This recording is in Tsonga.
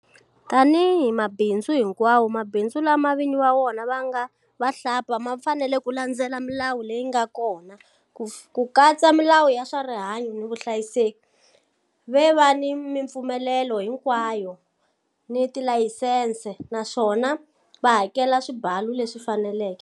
Tanihi mabindzu hinkwawo, mabindzu lama vinyi va wona ku nga vahlampfa ma fanele ku landzelela milawu leyi nga kona, ku katsa milawu ya swa rihanyu ni vuhlayiseki, va va ni mipfumelelo hinkwayo ni tilayisense, naswona va hakela swibalu leswi faneleke.